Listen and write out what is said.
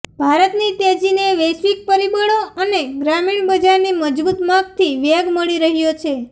ભારતની તેજીને વૈશ્વિક પરિબળો અને ગ્રામીણ બજારની મજબૂત માગથી વેગ મળી રહ્યો છે